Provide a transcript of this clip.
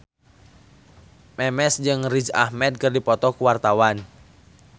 Memes jeung Riz Ahmed keur dipoto ku wartawan